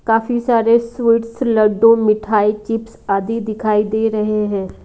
काफी सारे स्वीट्स लड्डू मिठाई चिप्स आदि दिखाई दे रहे हैं।